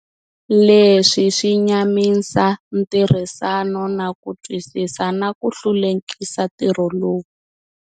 Leswi swi nyamisa ntirhisano na ku twisisa, na ku hlulekisa ntirho lowu.